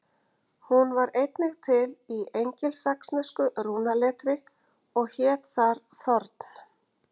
Hún var einnig til í engilsaxnesku rúnaletri og hét þar þorn.